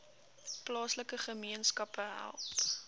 plaaslike gemeenskappe help